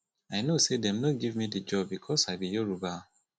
i know sey dem no give me di job because i be yoruba